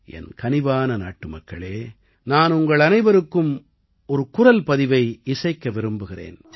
என் கனிவான நாட்டுமக்களே நான் உங்களனைவருக்கும் ஒரு குரல் பதிவை இசைக்க விரும்புகிறேன்